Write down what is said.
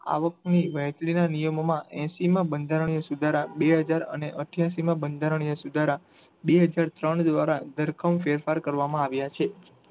આવક ની વહેચણી ના નિયમો માં એસી માં બંધારણ ના સુધારા બે હજાર અને અઠ્યાસી માં બંધારણીય સુધારા બે હજાર ત્રણ દ્વારા ધરકામ ફેરફાર કરવામાં આવ્યા છે.